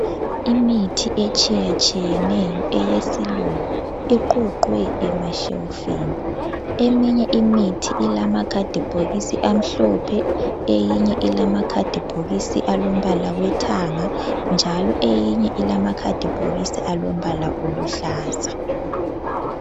Imithi etshiya tshiyeneyo eyesilungu iqoqwe emashelufini. Eminye imithi ilama khadi bhokisi amhlophe eyi ilama khadi bhokisa alombala wethanga njalo eyinye ilamakhadi bhokisi alombala oluhlaza.